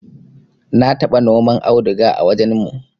na taba noma auduga a wajen mu